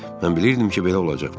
Mən bilirdim ki, belə olacaq.